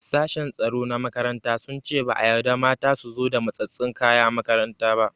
Sashen tsaro na makaranta sun ce ba a yarda mata su zo da matsatsen kaya makaranta ba.